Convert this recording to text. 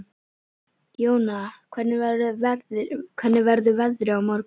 Jóna, hvernig verður veðrið á morgun?